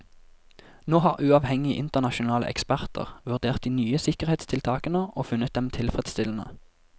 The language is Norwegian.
Nå har uavhengige internasjonale eksperter vurdert de nye sikkerhetstiltakene og funnet dem tilfredsstillende.